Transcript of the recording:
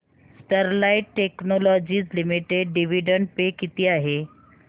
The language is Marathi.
Sterlite technologies limited dividend pay किती आहे